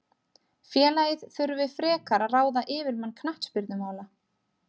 Félagið þurfi frekar að ráða yfirmann knattspyrnumála.